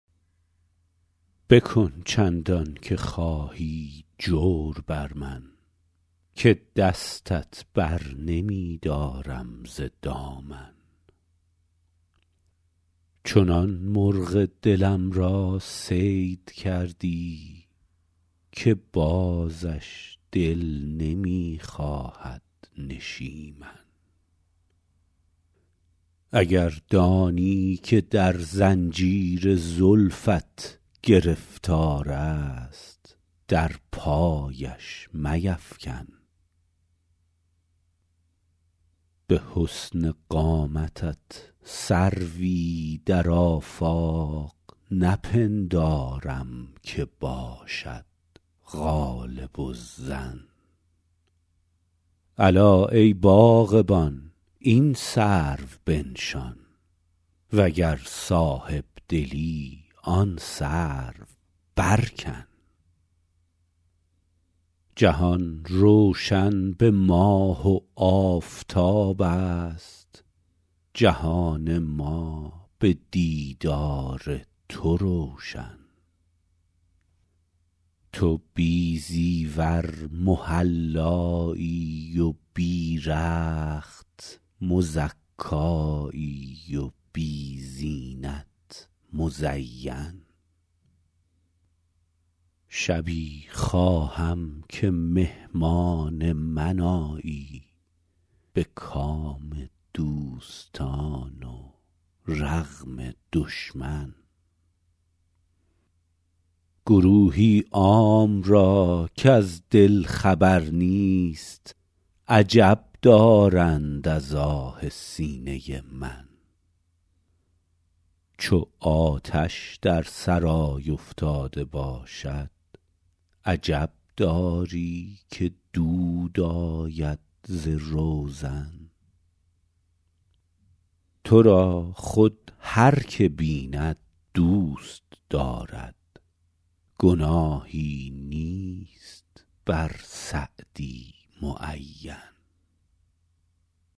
بکن چندان که خواهی جور بر من که دستت بر نمی دارم ز دامن چنان مرغ دلم را صید کردی که بازش دل نمی خواهد نشیمن اگر دانی که در زنجیر زلفت گرفتار است در پایش میفکن به حسن قامتت سروی در آفاق نپندارم که باشد غالب الظن الا ای باغبان این سرو بنشان و گر صاحب دلی آن سرو برکن جهان روشن به ماه و آفتاب است جهان ما به دیدار تو روشن تو بی زیور محلایی و بی رخت مزکایی و بی زینت مزین شبی خواهم که مهمان من آیی به کام دوستان و رغم دشمن گروهی عام را کز دل خبر نیست عجب دارند از آه سینه من چو آتش در سرای افتاده باشد عجب داری که دود آید ز روزن تو را خود هر که بیند دوست دارد گناهی نیست بر سعدی معین